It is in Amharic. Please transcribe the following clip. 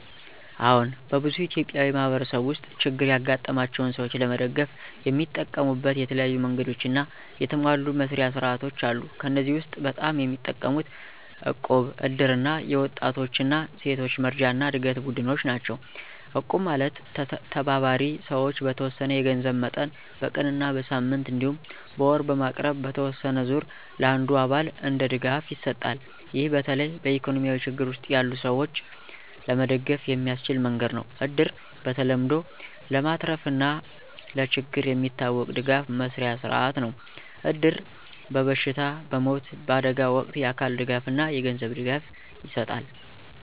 አዎን፣ በብዙ ኢትዮጵያዊ ማህበረሰቦች ውስጥ ችግር ያጋጠማቸውን ሰዎች ለመደገፍ የሚጠቀሙት የተለያዩ መንገዶችና የተሟሉ መስርያ ሥርዓቶች አሉ። ከእነዚህ ውስጥ በጣም የሚጠቀሙት እቁብ፣ እድር እና የወጣቶች እና ሴቶች መረጃና ዕድገት ቡድኖች ናቸው። እቁብ ማለት ተባባሪ ሰዎች በተወሰነ የገንዘብ መጠን በቀን እና በሳምንት እንዲሁም በወር በማቅረብ በተወሰነ ዙር ለአንዱ አባል እንደ ድጋፍ ይሰጣል። ይህ በተለይ በኢኮኖሚ ችግር ውስጥ ያሉ ሰዎች ለመደገፍ የሚያስችል መንገድ ነው። እድር በተለምዶ ለማትረፍና ለችግር የሚታወቅ ድጋፍ መስርያ ሥርዓት ነው። እድር በበሽታ፣ በሞት፣ በአደጋ ወቅት የአካል ድጋፍና የገንዘብ ድጋፍ ይሰጣል።